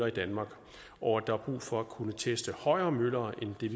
i danmark og at der er brug for at kunne teste højere møller end det er